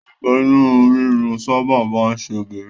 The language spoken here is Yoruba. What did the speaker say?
Àìsàn inú rírun sábà máa ń ṣe obìnrin